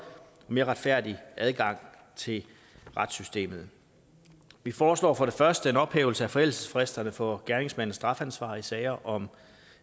og mere retfærdig adgang til retssystemet vi foreslår for det første en ophævelse af forældelsesfristerne for gerningsmandens strafansvar i sager om